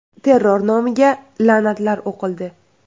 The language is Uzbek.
Terror nomiga la’natlar o‘qildi.